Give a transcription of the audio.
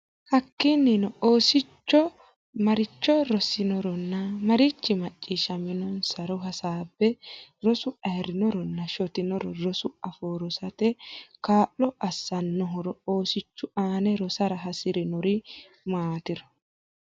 Hakkiinnino oosichu maricho rosinoronna marichi macciishshaminosi e ro hasaabbe Rosu ayirrinoronna shotinoro Rosu afoo rosate kaa lo assannohoro Oosichu aane rosara hasi rannori maatiro.